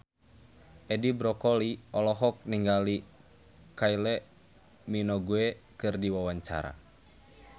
Edi Brokoli olohok ningali Kylie Minogue keur diwawancara